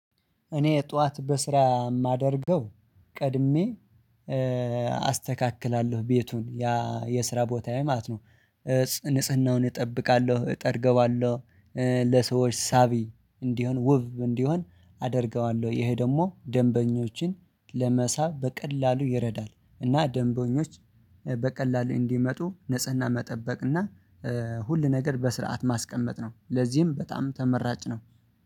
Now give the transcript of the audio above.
እኔ ጠዋት በስራ የማደርገው ቀድሜ አስተካክላለሁ ቤቱን ያ የስራ ቦታዬ ማለት ነው ንጽህናውን እጠብቃለሁ እጠርገዋለሁ። ለሰዎች ሳቢ እንዲሆን ውብ እንዲሆን አደርገዋለሁ ይሄ ደግሞ ደንበኞችን ለመሳብ በቀላሉ ይረዳል። እና ደንቦኞች በቀላሉ እንዲመጡ ንጽህና መጠበቅ እና ሁሉ ነገር በስርዓት ማስቀመጥ ነው። ለዚህም በጣም ተመራጭ ነው